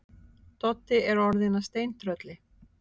Doddi er orðinn að steintrölli.